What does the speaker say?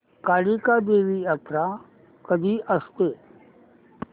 कालिका देवी यात्रा कधी असते